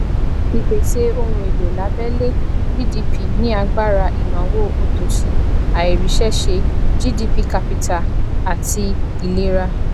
ìpese ohun elo labele gdp ní agbára ìnáwó òtòṣì àìríṣẹṣe gdp capita àti ìlera